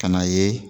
Ka n'a ye